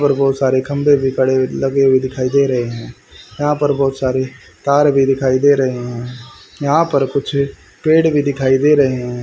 और बहोत सारे खंबे भी खड़े लगे हुए दिखाई दे रहे हैं यहां पर बहोत सारी तार भी दिखाई दे रहे हैं यहां पर कुछ पेड़ भी दिखाई दे रहे हैं।